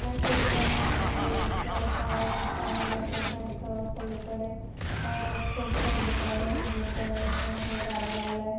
या चित्रा मध्ये एक अह रस्ता आहे रस्त्याच्या क पलीकडे अ खूप दुकाने आहेत. त्या दुकानाच्या गाड्या लावलेले आहे.